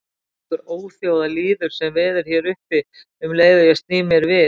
Þvílíkur óþjóðalýður sem veður hér uppi um leið og ég sný mér við.